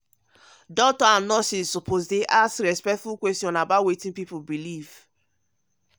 doctors and nurses suppose dey ask respectful questions about wetin people believe.